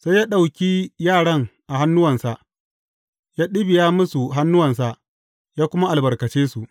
Sai ya ɗauki yaran a hannuwansa, ya ɗibiya musu hannuwansa, ya kuma albarkace su.